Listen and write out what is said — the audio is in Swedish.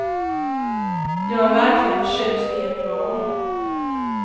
Jag är verkligen förtjust i ert val.